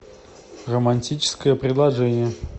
романтическое предложение